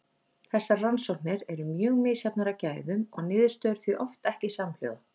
Þessar rannsóknir eru mjög misjafnar að gæðum og niðurstöður því oft ekki samhljóða.